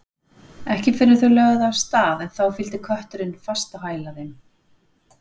Ekki fyrr en þau lögðu af stað en þá fylgdi kötturinn fast á hæla þeim.